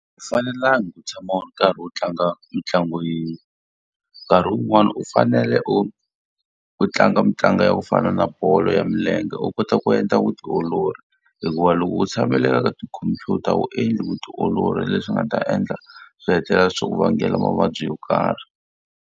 fanelangi ku tshama u ri karhi u tlanga mitlangu yin'we, nkarhi wun'wani u fanele u u tlanga mitlangu ya ku fana na bolo ya milenge u kota ku endla vutiolori. Hikuva loko u tshamela le ka tikhompyuta wu endli vutiolori leswi nga ta endla swi hetelela swi ku vangela mavabyi yo karhi.